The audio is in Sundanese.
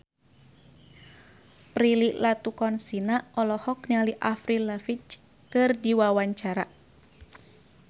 Prilly Latuconsina olohok ningali Avril Lavigne keur diwawancara